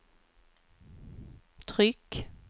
tryck